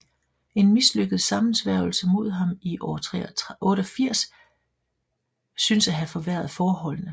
En mislykket sammensværgelse imod ham i år 88 synes at have forværret forholdene